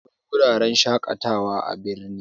Akwai wuraren shaƙatawa da yawa a birni